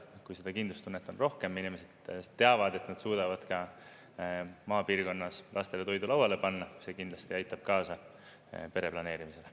Kui seda kindlustunnet on rohkem, inimesed teavad, et nad suudavad ka maapiirkonnas lastele toidu lauale panna, siis see kindlasti aitab kaasa pereplaneerimisele.